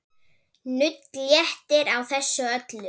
Nudd léttir á þessu öllu.